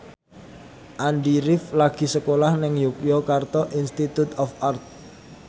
Andy rif lagi sekolah nang Yogyakarta Institute of Art